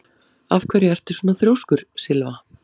Af hverju ertu svona þrjóskur, Sylva?